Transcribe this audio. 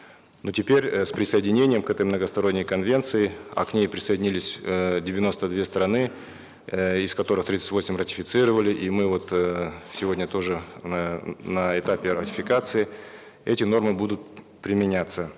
но теперь э с присоединением к этой многосторонней конвенции а к ней присоединились эээ девяносто две страны э из которых тридцать восемь ратифицировали и мы вот эээ сегодня тоже на этапе ратификации эти нормы будут применяться